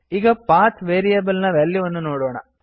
ಈಗ path variable ನ ವ್ಯಾಲ್ಯೂವನ್ನು ನೋಡೋಣ